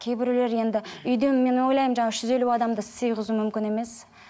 кейбіреулер енді үйден мен ойлаймын жаңа үш жүз елу адамды сыйғызу мүмкін емес